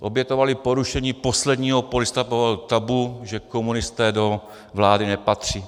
Obětovali porušení posledního polistopadového tabu, že komunisté do vlády nepatří.